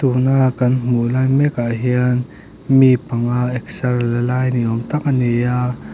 tun a kan hmuh lai mek ah hian mi panga exer la lai ni awm tak a ni a.